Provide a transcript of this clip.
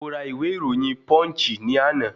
Mo ra ìwé ìròyìn Punch ní àná